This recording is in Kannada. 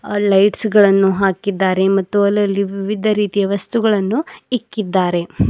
ಆ ಲೈಟ್ಸ್ ಗಳನ್ನು ಹಾಕಿದ್ದಾರೆ ಮತ್ತು ಅಲ್ಲಲ್ಲಿ ವಿವಿಧ ರೀತಿಯ ವಸ್ತುಗಳನ್ನು ಇಕ್ಕಿದ್ದಾರೆ.